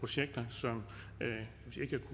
og se